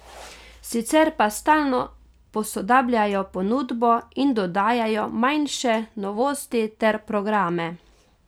Sicer pa stalno posodabljajo ponudbo in dodajajo manjše novosti ter programe.